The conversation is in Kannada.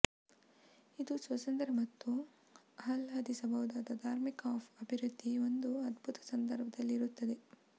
ಇದು ಸ್ವಾತಂತ್ರ್ಯ ಮತ್ತು ಆಹ್ಲಾದಿಸಬಹುದಾದ ಧಾರ್ಮಿಕ ಆಫ್ ಅಭಿವ್ಯಕ್ತಿ ಒಂದು ಅದ್ಭುತ ಸಂದರ್ಭದಲ್ಲಿ ಇರುತ್ತದೆ